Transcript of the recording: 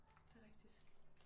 Det rigtigt